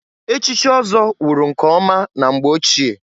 Echichi ọzọ wụrụ nke ọma na mgbe ochie.